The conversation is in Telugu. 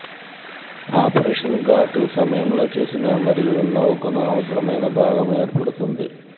ఆపరేషన్ గాటు సమయంలో చేసిన మరియు నౌకను అవసరమైన భాగం ఏర్పడుతుంది